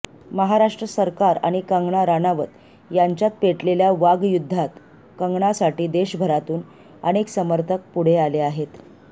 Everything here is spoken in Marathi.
महाराष्ट्र सरकार आणि कंगना राणावत याच्यात पेटलेल्या वागयुद्धात कंगनासाठी देशभरातून अनेक समर्थक पुढे आले आहेत